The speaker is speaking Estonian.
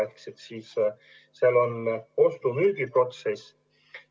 Ehk siis peab toimima ostu-müügiprotsess.